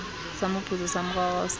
sa moputso sa moraorao sa